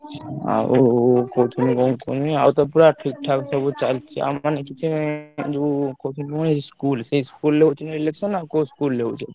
ଆଉ କହୁଥିଲି କଣ କୁହନି ଆଉ ତ ପୁରା ଠିକ୍ ଠାକ ସବୁ ଚାଲଚି ଆଉ ମାନେ କିଛି ଯୋଉ school ସେଇ school ରେ ହଉଛି ନା election ନା କୋଉ school ରେ ହଉଛି?